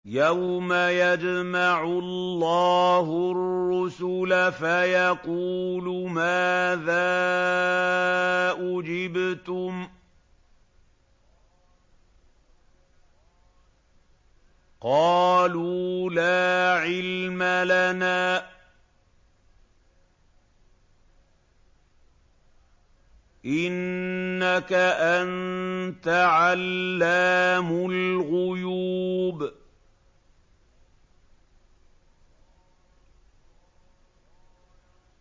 ۞ يَوْمَ يَجْمَعُ اللَّهُ الرُّسُلَ فَيَقُولُ مَاذَا أُجِبْتُمْ ۖ قَالُوا لَا عِلْمَ لَنَا ۖ إِنَّكَ أَنتَ عَلَّامُ الْغُيُوبِ